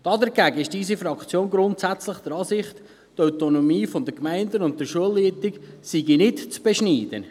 Dagegen ist unsere Fraktion grundsätzlich der Ansicht, die Autonomie der Gemeinden und der Schulleitungen sei nicht zu beschneiden.